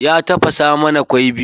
Ya tafasa mana kwai biyu.